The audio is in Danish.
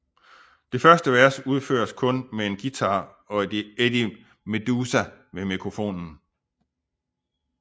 Det første vers udføres kun med en guitar og Eddie Meduza ved mikrofonen